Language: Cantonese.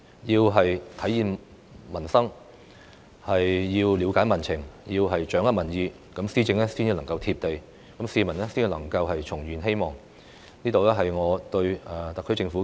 政府要體現民生、了解民情、掌握民意，施政才能夠"貼地"，市民才能夠重燃希望，這是我對特區政府的寄言。